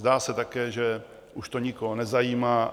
Zdá se také, že už to nikoho nezajímá.